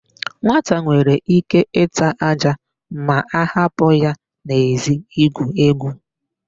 Nwata nwere íké ịta ájá ma a hapụ ya n'èzí igwu égwù.